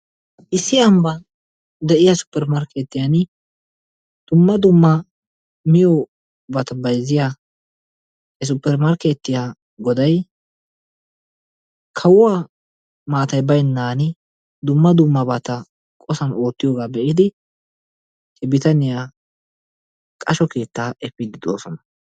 issi ambban de'iya suppermarkeetiyani dumma dumma miyobata bayzziya supermarkeetiya goday kawuwa maatay baynan dumma dummabata qosan ootiyoga be'idi he bitaniya qashuwawu efidi de'oosona